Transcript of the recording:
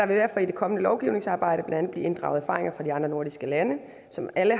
derfor i det kommende lovgivningsarbejde blandt andet blive inddraget erfaringer fra de andre nordiske lande som alle